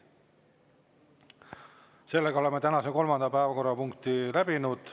Sellega oleme tänase kolmanda päevakorrapunkti läbinud.